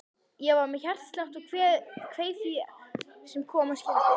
Ég var með hjartslátt og kveið því sem koma skyldi.